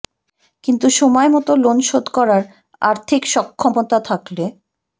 কিন্তু সময় মতো লোন শোধ করার আর্থিক সক্ষমতা থাকলে